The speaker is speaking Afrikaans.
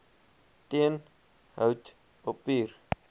teen hout papier